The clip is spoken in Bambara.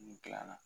N dilanna